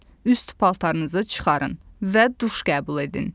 Üst paltarınızı çıxarın və duş qəbul edin.